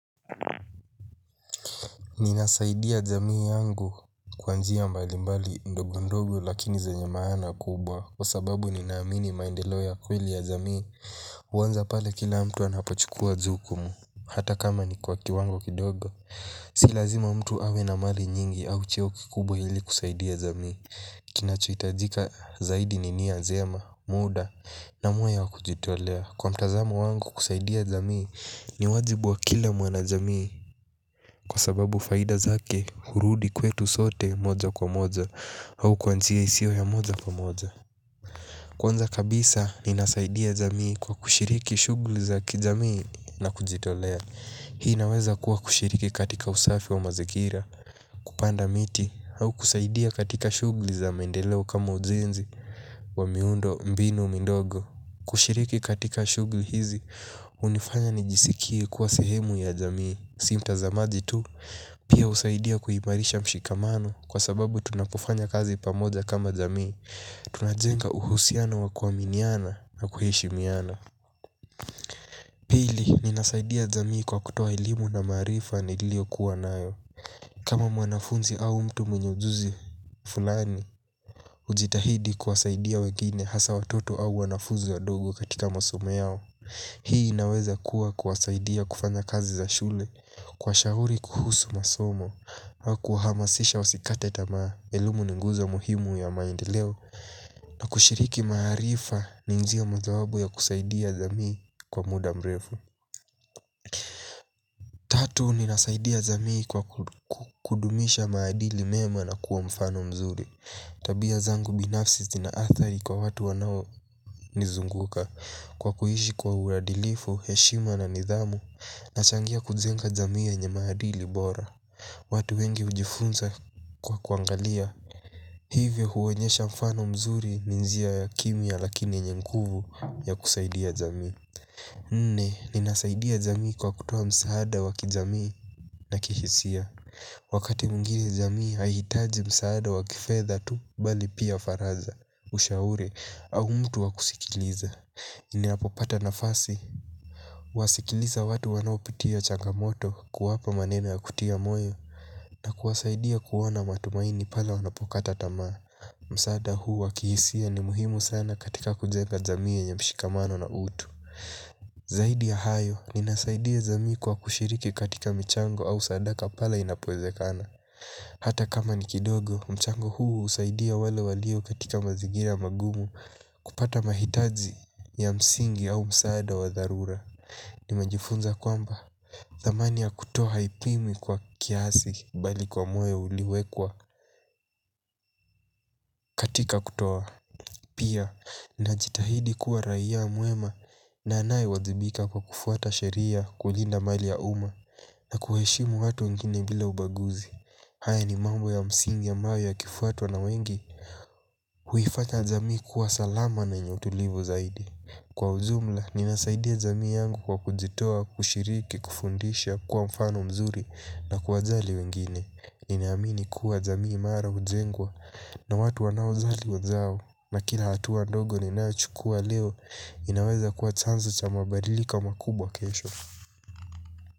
Ninasaidia jamii yangu kwa njia mbali mbali ndogo ndogo lakini zenye maana kubwa kwa sababu ninaamini maendeleo ya kweli ya jamii huanza pale kila mtu anapochukuwa jukumu. Hata kama ni kwa kiwango kidogo. Si lazima mtu awe na mali nyingi au cheo kikubwa hili kusaidia jamii. Kinacho hitajika zaidi ni nia jema muda. Na moyo ya kujitolea kwa mtazamo wangu kusaidia jamii ni wajibu wa kila mwanajamii kwa sababu faida zake hurudi kwetu sote moja kwa moja. Au kwa njia isio ya moja kwa moja. Kwanza kabisa ninasaidia jamii kwa kushiriki shughuli i za kijamii na kujitolea. Hii naweza kuwa kushiriki katika usafi wa mazingira. Kupanda miti au kusaidia katika shughuli za mendeleo kama ujenzi wa miundo mbinu mindogo. Kushiriki katika shughuli hizi hunifanya nijisikie kuwa sehemu ya jamii. Si mtazamaji tu, pia husaidia kuhimarisha mshikamano kwa sababu tunapofanya kazi pamoja kama zamii. Tunajenga uhusiano wa kuaminiana na kuheshimiana. Pili, ninasaidia jamii kwa kutoa elimu na maarifa nilio kuwa nayo. Kama mwanafunzi au mtu mwenye ujuzi fulani, hujitahidi kuwasaidia wengine hasa watoto au wanafunzi wadogo katika masomo yao. Hii inaweza kuwa kuwasaidia kufanya kazi za shule, kuwashauri kuhusu masomo au kuhamasisha wasikate tamaa, elimu ni nguzo muhimu ya maendeleo. Na kushiriki maarifa ni njia mojawapo ya kusaidia jamii kwa muda mrefu tatu ninasaidia jamii kwa kudumisha maadili mema na kuwa mfano mzuri tabia zangu binafsi zina athari kwa watu wanaonizunguka kwa kuishi kwa uadilifu, heshima na nidhamu. Nachangia kujenga jamii yenye maadili bora. Watu wengi hujifunza kwa kuangalia. Hivyo huonyesha mfano mzuri ni njia ya kimya lakini yenye nguvu ya kusaidia jamii. Nne, ninasaidia jamii kwa kutoa msaada wa kijamii na kihisia. Wakati mwingine jamii haihitaji msaada wakifedha tu bali pia faraja. Ushauri au mtu wakusikiliza ninapopata nafasi huwasikiliza watu wanaopitia changamoto kuwapa maneno ya kutia moyo. Na kuwasaidia kuwa na matumaini pale wanapokata tamaa. Msaada huu wa kihisia ni muhimu sana katika kujenga jamii yenye mshikamano na utu. Zaidi ya hayo, ninasaidia jamii kwa kushiriki katika michango au sadaka pale inapowezekana. Hata kama ni kidogo, mchango huu husaidia wale walio katika mazingira magumu kupata mahitaji ya msingi au msaada wa dharura. Nimejifunza kwamba thamani ya kutoa haipimwi kwa kiasi bali kwa moyo uliwekwa katika kutoa. Pia, ninajitahidi kuwa raia mwema na anayewajibika kwa kufuata sheria, kulinda mali ya uma na kuheshimu watu wengine bila ubaguzi. Haya ni mambo ya msingi ambayo yakifuatwa na wengi huifanya jamii kuwa salama na yenye utulivu zaidi. Kwa ujumla, ninasaidia jamii yangu kwa kujitoa, kushiriki, kufundisha, kuwa mfano mzuri na kuwajali wengine. Ninaamini kuwa jamii mara hujengwa na watu wanaojali wenzao na kila hatua ndogo ninaochukua leo inaweza kuwa chanzo cha mabadiliko makubwa kesho.